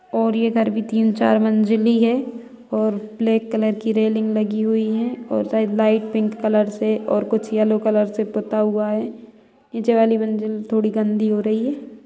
और ये घर भी तीन चार मंजिल ही है और ब्लैक कलर की रेलिंग हुई है और शायद लाइट पिंक कलर से और कुछ येलो से पुता हुआ है| नीचे वाली मंजिल थोड़ी गन्दी हो रही है।